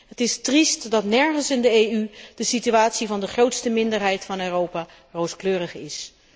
Het is triest dat nergens in de EU de situatie van de grootste minderheid van Europa rooskleurig is.